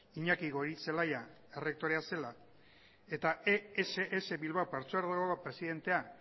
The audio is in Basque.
iñaki goirizelaia errektorea zela eta ess bilbao partzuergoako presidentea